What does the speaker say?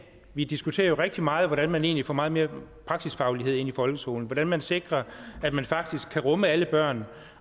vi diskuterer jo rigtig meget hvordan man egentlig får meget mere praksisfaglighed ind i folkeskolen hvordan man sikrer at man faktisk kan rumme alle børn